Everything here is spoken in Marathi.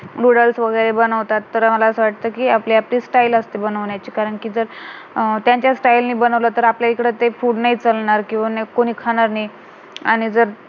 नूडल्स वगैरे बनवतात तर मला असं वाटत कि आपली आपली style असते बनवण्याची कारण कि जर अं त्यांच्या style जर बनवला तर आपल्याकडे ते food नाही चालणार किंवा नाही कोणी खाणार नाही आणि जर